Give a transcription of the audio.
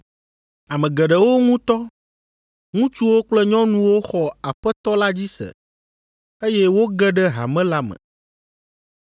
Ame geɖewo ŋutɔ, ŋutsuwo kple nyɔnuwo xɔ Aƒetɔ la dzi se, eye woge ɖe hame la me.